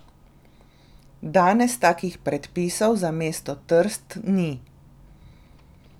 Danes takih predpisov za mesto Trst ni.